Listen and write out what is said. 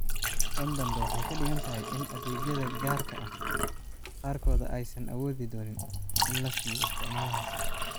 Tan dambe waxay ka dhigan tahay in adeegyada gaarka ah qaarkood aysan awoodi doonin in la siiyo isticmaalahaas.